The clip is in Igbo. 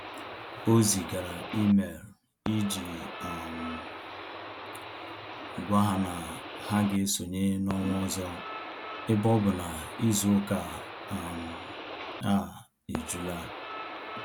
O zigara email iji um gwa ha na ha ga-esonye n'ọnwa ọzọ ebe ọ bụ na izu ụka um a ejula